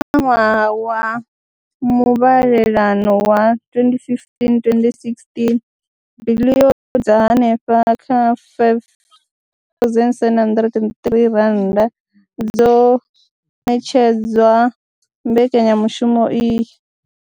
Kha ṅwaha wa muvhalelano wa 2015 2016, biḽioni dza henefha kha R5 703 dzo ṋetshedzwa mbekanyamushumo iyi.